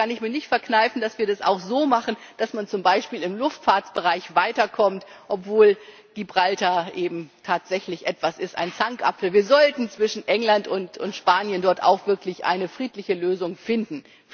Da kann ich mir nicht verkneifen, dass wir das auch so machen, dass man zum Beispiel im Luftfahrtbereich weiterkommt, obwohl Gibraltar tatsächlich ein Zankapfel ist. Wir sollten zwischen England und Spanien dort auch wirklich eine friedliche Lösung finden.